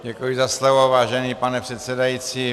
Děkuji za slovo, vážený pane předsedající.